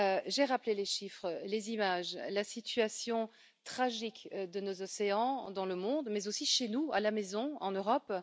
J'ai rappelé les chiffres, les images, la situation tragique de nos océans dans le monde, mais aussi chez nous, en Europe.